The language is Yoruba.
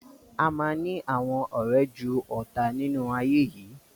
Ama ni àwọn ọrẹ jù ọta nínú ayé yìí.